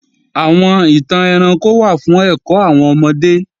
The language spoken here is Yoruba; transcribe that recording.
Àwọn ìtàn ẹranko wà fún ẹ̀kọ́ àwọn ọmọdé